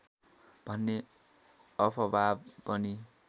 भन्ने अफवाह पनि